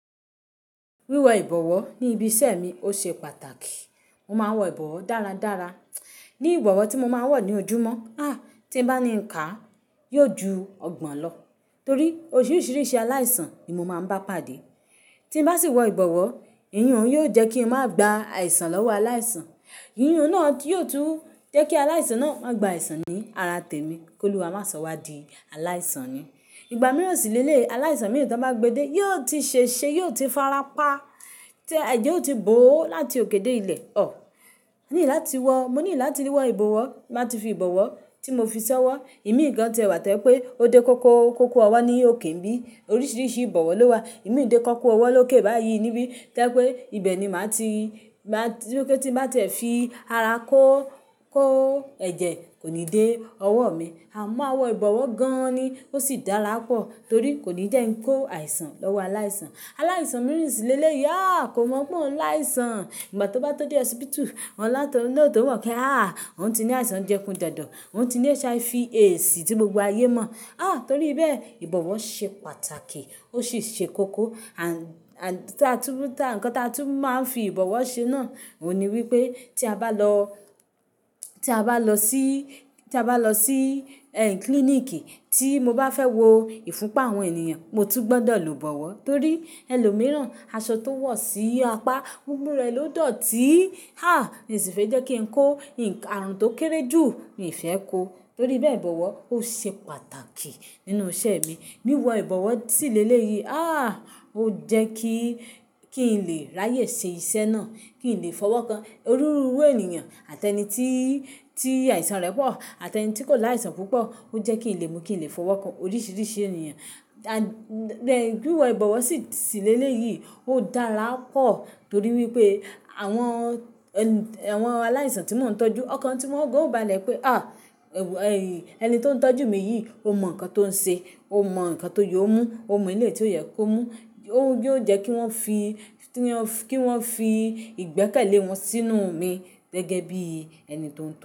Wíwọ ìbọ̀wọ̀ ni ibi iṣẹ́ mi ó ṣe pàtàkì. Mo máa ń wọ ìbọ̀wọ̀ dáradára. Ni ìbọ̀wọ̀ tí mo máa ń wọ̀ ní ojúmọ́, tí n bá ní nkà yóò ju ọgbọ̀n lọ torí oríṣiríṣi aláìsàn ni mo máa ń bá pàdé. Tí n bá sì wọ ìbọ̀wọ̀, eyihùn yóò jẹ́ kí n má gba àìsàn lọ́wọ́ aláìsàn. Eyihùn náà yóò tún jẹ́ kí aláìsàn náà má gba àìsàn ni ara tèmi kóluwa máa sọ wá di aláìsàn ni. Ìgbà mìíràn sì lẹ́lẹ́yi aláìsàn mìíràn tí wọ́n bá gbe de yóò ti ṣè ṣe, yóò ti fara pa, ẹ̀jẹ̀ ó ti bò ó láti òké dé ilẹ̀. Ọ̀! A ní láti wọ, mo ní láti wọ ìbọ̀wọ̀, n bá ti fi ìbọ̀wọ̀ tí mo fi ṣọ́ wọ. Imii gan ti ẹ wà to jẹ́ pẹ́ ó dé kókó, kókó ọwọ́ ni ó ké nibí. Oríṣiríṣi ìbọ̀wọ̀ lówà. Imi ò dé kókó ọwọ́ lóké báyìí níbí to jẹ́ pé ibẹ̀ ni màá ti, tí n bá ti ẹ̀ fi ara kó, kó ẹ̀jẹ̀ kò ní dé ọwọ́ mi. A mo maà nwọ ìbọ̀wọ̀ gan-an ni ó sì dára pọ̀ torí kò ní jẹ́ nkó àìsàn lọ́wọ́ aláìsàn. Aláìsàn mìíràn sì lẹ́lẹ́ yí à kò mọ̀ pé ọ̀un láìsàn. Ìgbà tí ó bá tó dé hospital, wọn látọ̀ ni o tò mọ̀ pé àh, òun ti ní àìsàn jẹfunjẹ̀dọ̀, òun ti ní HIV/AIDS tí gbogbo ayé mọ̀. À! Torí bẹ́ẹ̀ ìbọ̀wọ̀ ṣe pàtàkì ó sì ṣe kókó. Àń, àń tí a tún, nǹkan tí a tún máa ń fi ìbọ̀wọ̀ ṣe náà òun ni wípé tí a bá lọ, tí a bá lọ sí, tí a bá lọ sí ẹ́h klíníkì tí mo bá fẹ́ wo ìfúnpa àwọn ènìyàn, mo tún gbọdọ̀ lò ìbọ̀wọ̀ torí ẹlòmíràn aṣọ tó wọ̀ sí apá, gbogbo rẹ̀ ló dọ̀ọ́ tí. À! Mi sì fẹ́ jẹ́ kí n kó, nǹkan aarun tó kéré jù mi fẹ́ kó. Torí bẹ́ẹ̀ ìbọ̀wọ̀ ó ṣe pàtàkì nínú iṣẹ́ mi. Wíwọ ìbọ̀wọ̀ sì lẹ́lẹ́yí à ó jẹ́ kí, kí n lè ráyè ṣe iṣẹ́ náà, kí n lè fọwọ́ kan. Òniruuru ènìyàn àtẹni tí, tí àìsàn rẹ̀ pọ̀, àtẹni tí kò láìsàn púpọ̀ ó jẹ́ kí n lè mú kí n lè fọwọ́ kan oríṣiríṣi ènìyàn. À, lẹ́, wíwọ ìbọ̀wọ̀ sì, sì lẹ́lẹ́ yí ó dára pọ̀ torí wípé àwọn ẹ́, àwọn aláìsàn tí mò ń tọ́jú ọ̀kàn tí wọ́n ó gan o bale pe, ẹ wo, ẹni tí ó ń tọ́jú mi yìí ó mọ nǹkan tó ń ṣe, ó mọ nǹkan tó yóò mú, ó mọ ilé tí ó yẹ kó mú. Òun yóò jẹ́ kí wọ́n fi, kí wọ́n fi ìgbẹ́kẹ̀lé wọn sínú mi gẹ́gẹ́ bí ẹni tí ó ń to.